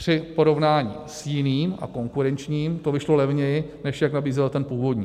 Při porovnání s jiným a konkurenčním to vyšlo levněji, než jak nabízel ten původní.